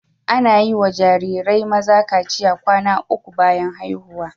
Ana yi wa jarirai maza kaciya kwana uku bayan haihuwa.